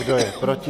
Kdo je proti?